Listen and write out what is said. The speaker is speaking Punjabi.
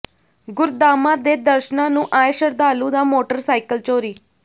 ਗੁਰਧਾਮਾਂ ਦੇ ਦਰਸ਼ਨਾਂ ਨੂੰ ਆਏ ਸ਼ਰਧਾਲੂ ਦਾ ਮੋਟਰਸਾਈਕਲ ਚੋਰੀ